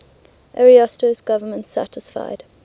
ariosto's government satisfied